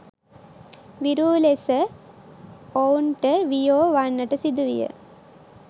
විරූ ලෙස ඔවුන්ට වියෝ වන්නට සිදුවිය.